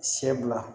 Sɛ bila